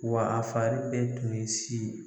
Wa a fari bɛɛ tun ye si ye.